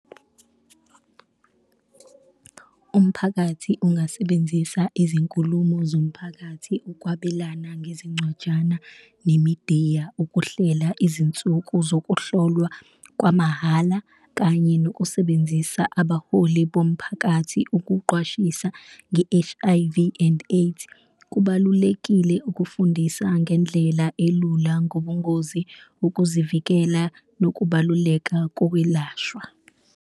Umphakathi ungasebenzisa izinkulumo zomphakathi, ukwabelana ngezincwajana, nemidiya ukuhlela izinsuku zokuhlolwa kwamahhala kanye nokusebenzisa abaholi bomphakathi ukuqwashisa nge-H_I_V and AIDS. Kubalulekile ukufundisa ngendlela elula ngobungozi, ukuzivikela nokubaluleka kokwelashwa.